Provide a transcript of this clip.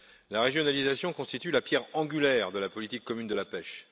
La régionalisation constitue la pierre angulaire de la politique commune de la pêche.